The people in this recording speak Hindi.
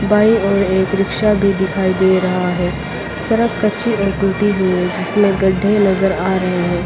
बाई ओर एक रिक्शा भी दिखाई दे रहा है सड़क कच्ची और टूटी हुई है जिसमें गड्ढे नजर आ रहे हैं।